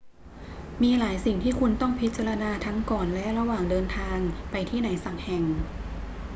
มีหลายสิ่งที่คุณต้องพิจารณาทั้งก่อนและระหว่างเดินทางไปที่ไหนสักแห่ง